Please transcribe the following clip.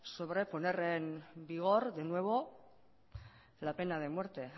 sobre poner en vigor de nuevo la pena de muerte